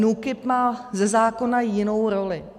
NÚKIB má ze zákona jinou roli.